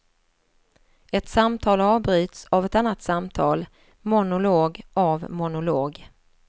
Ett samtal avbryts av ett annat samtal, monolog av monolog.